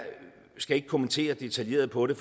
skal ikke kommentere detaljeret på det